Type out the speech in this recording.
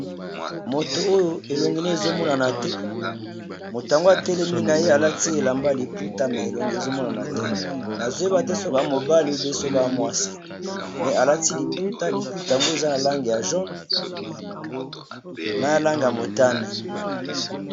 Moto oyo elongi naye ezo mo nanate moto oyo atelemi naye nayebite soki aza mwana mobali ou bien aza mwasi